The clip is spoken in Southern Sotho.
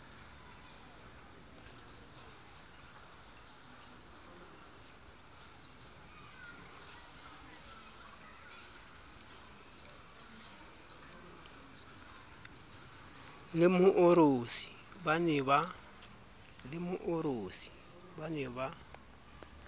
le moorosi ba ne ba